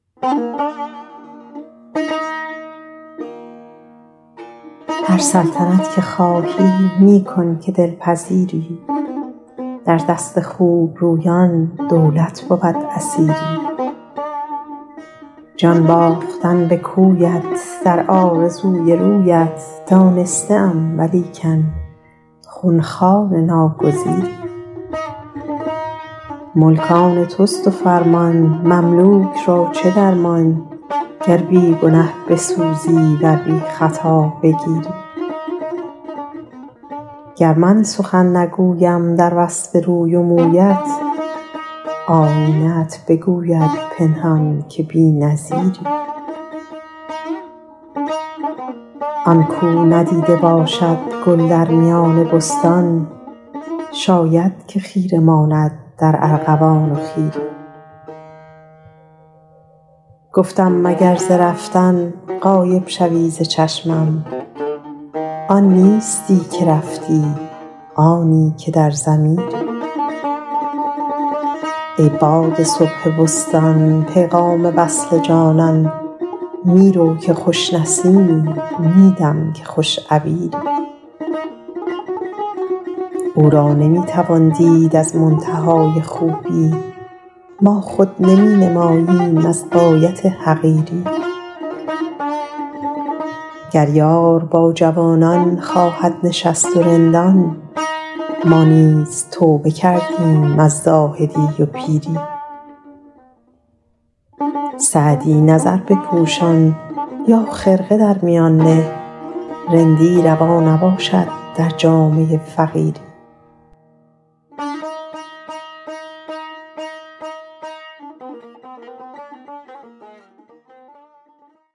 هر سلطنت که خواهی می کن که دل پذیری در دست خوب رویان دولت بود اسیری جان باختن به کویت در آرزوی رویت دانسته ام ولیکن خون خوار ناگزیری ملک آن توست و فرمان مملوک را چه درمان گر بی گنه بسوزی ور بی خطا بگیری گر من سخن نگویم در وصف روی و مویت آیینه ات بگوید پنهان که بی نظیری آن کاو ندیده باشد گل در میان بستان شاید که خیره ماند در ارغوان و خیری گفتم مگر ز رفتن غایب شوی ز چشمم آن نیستی که رفتی آنی که در ضمیری ای باد صبح بستان پیغام وصل جانان می رو که خوش نسیمی می دم که خوش عبیری او را نمی توان دید از منتهای خوبی ما خود نمی نماییم از غایت حقیری گر یار با جوانان خواهد نشست و رندان ما نیز توبه کردیم از زاهدی و پیری سعدی نظر بپوشان یا خرقه در میان نه رندی روا نباشد در جامه فقیری